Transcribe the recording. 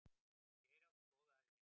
Geir átti góða ævi.